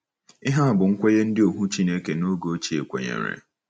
Ihe a bụ́ nkwenye ndị ohu Chineke n’oge ochie kwenyere.